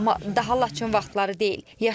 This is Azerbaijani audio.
Amma daha Laçınlı vaxtları deyil.